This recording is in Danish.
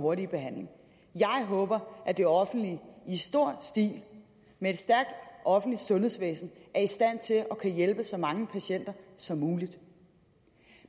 hurtig behandling jeg håber at det offentlige i stor stil med et stærkt offentligt sundhedsvæsen er i stand til at kunne hjælpe så mange patienter som muligt